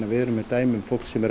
við erum með dæmi um fólk sem er